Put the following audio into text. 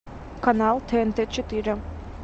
канал тнт четыре